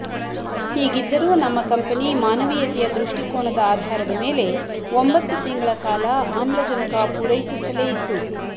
ಹೀಗಿದ್ದರೂ ನಮ್ಮ ಕಂಪನಿ ಮಾನವೀಯತೆಯ ದೃಷ್ಟಿಕೋನದ ಆಧಾರದ ಮೇಲೆ ಒಂಬಂತ್ತು ತಿಂಗಳ ಕಾಲ ಆಮ್ಲಜನಕ ಪೂರೈಸುತ್ತಲೇ ಇತ್ತು